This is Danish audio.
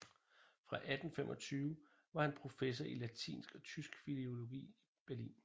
Fra 1825 var han professor i latinsk og tysk filologi i Berlin